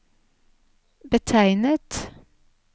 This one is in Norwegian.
betegnet